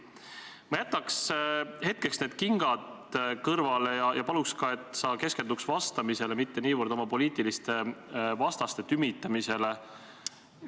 Ma jätaks hetkeks need kingad kõrvale ja paluks, et sa keskenduks vastamisele, mitte niivõrd oma poliitiliste vastaste tümitamisele.